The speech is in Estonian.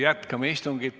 Jätkame istungit.